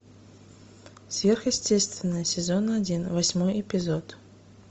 сверхъестественное сезон один восьмой эпизод